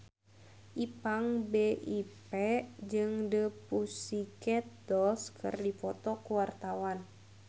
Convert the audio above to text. Ipank BIP jeung The Pussycat Dolls keur dipoto ku wartawan